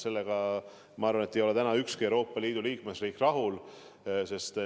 Sellega, ma arvan, et ei ole täna ükski Euroopa Liidu liikmesriik rahul.